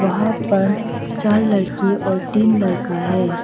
वहां पर चार लड़की और तीन लड़का है।